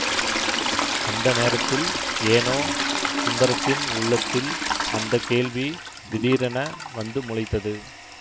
அந்த நேரத்தில் ஏனோ சுந்தரத்தின் உள்ளத்தில் அந்த கேள்வி திடீரென வந்து முளைத்தது